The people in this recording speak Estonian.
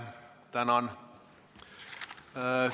Tänan!